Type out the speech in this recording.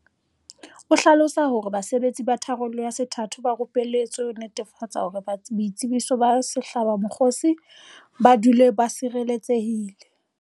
O hlalosa hore basebetsi ba tharollo ya sethatho ba rupeletswe ho netefatsa hore boitsebiso ba sehlabamokgosi bo dule bo tshireletsehile.